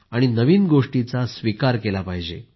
आणि नवीन गोष्टींचा स्वीकार केला पाहिजे